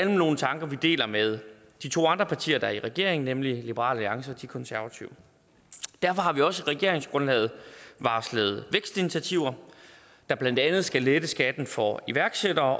nogle tanker vi deler med de to andre partier der er i regering nemlig liberal alliance og de konservative derfor har vi også i regeringsgrundlaget varslet vækstinitiativer der blandt andet skal lette skatten for iværksættere